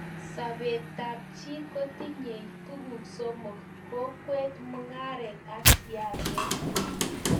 sobetab chii kotinyei tuguk somok; kokwet, mungaret ak siaset